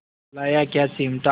लाया क्या चिमटा